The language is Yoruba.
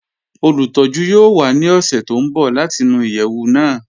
Olùtọ̀jú yoo wà ní ọṣẹ̀ tó n bọ̀ láti nú iyeẹwù náà